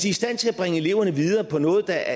i stand til at bringe eleverne videre på noget der